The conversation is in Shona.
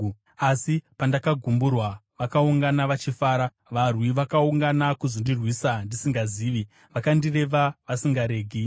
Asi pandakagumburwa, vakaungana vachifara; varwi vakaungana kuzondirwisa ndisingazivi. Vakandireva vasingaregi.